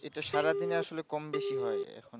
এটা সারাদিন আসলে কম বেশি হয় এরকম